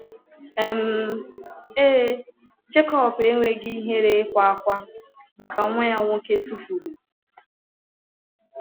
um Ee, Jekọb enweghị ihere ịkwa ákwá maka nwa ya nwoke tụfuru.